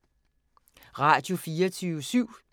Radio24syv